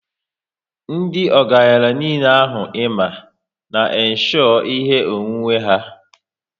Ndị ọgaranya niile ahụ i ma, n' insho ihe onwunwe ha